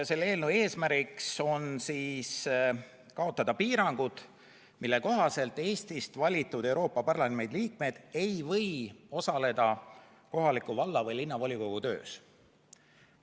Selle eelnõu eesmärgiks on kaotada piirangud, mille kohaselt Eestist valitud Euroopa Parlamendi liikmed ei või osaleda kohaliku valla- või linnavolikogu töös.